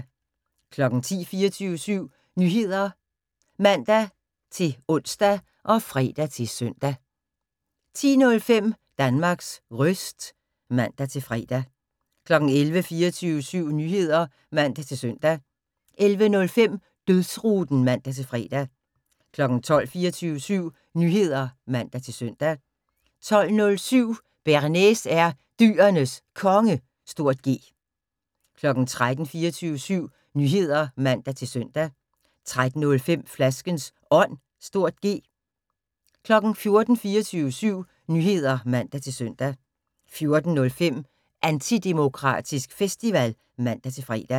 10:00: 24syv Nyheder (man-ons og fre-søn) 10:05: Danmarks Röst (man-fre) 11:00: 24syv Nyheder (man-søn) 11:05: Dødsruten (man-fre) 12:00: 24syv Nyheder (man-søn) 12:07: Bearnaise er Dyrenes Konge (G) 13:00: 24syv Nyheder (man-søn) 13:05: Flaskens Ånd (G) 14:00: 24syv Nyheder (man-søn) 14:05: Antidemokratisk Festival (man-fre)